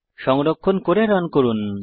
সংরক্ষণ করে রান করুন